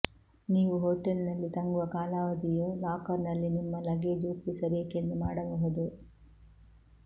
ನೀವು ಹೋಟೆಲ್ ನಲ್ಲಿ ತಂಗುವ ಕಾಲಾವಧಿಯು ಲಾಕರ್ ನಲ್ಲಿ ನಿಮ್ಮ ಲಗೇಜ್ ಒಪ್ಪಿಸಬೇಕೆಂದು ಮಾಡಬಹುದು